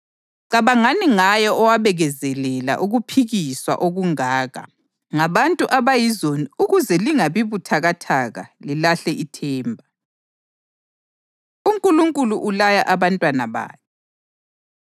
Cabangani ngaye owabekezelela ukuphikiswa okungaka ngabantu abayizoni ukuze lingabi buthakathaka lilahle ithemba. UNkulunkulu Ulaya Abantwana Bakhe